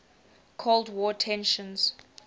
cold war tensions